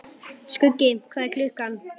Skuggi, hvað er klukkan?